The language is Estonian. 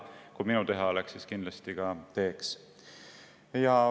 Kui see minu teha oleks, siis ma kindlasti seda teeks.